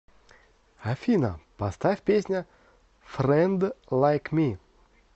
афина поставь песня фрэнд лайк ми